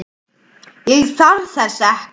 Ég þarf þess ekki.